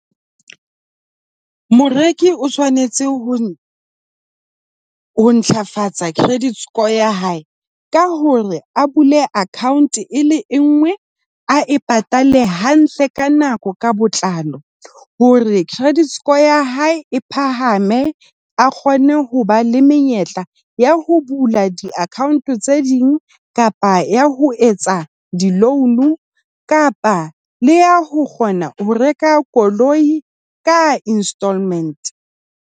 Moreki o tshwanetse ho ho ntlafatsa credit score ya hae ka hore a bule account e le engwe a e patale hantle ka nako ka botlalo hore credit score ya hae e phahame a kgone ho ba le menyetla ya ho bula di-account tse ding kapa ya ho etsa di-loan kapa le ya ho kgona ho reka koloi ka instalment.